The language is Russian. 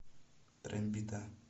трембита